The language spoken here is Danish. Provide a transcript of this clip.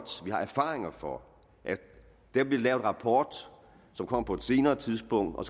har erfaringer for at der bliver lavet en rapport som kommer på et senere tidspunkt og